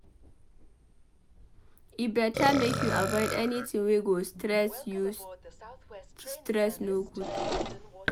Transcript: E beta make you avoid anytin wey go stress you stress no good.